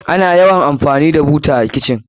Ana yawan amfani da buta a kitchen.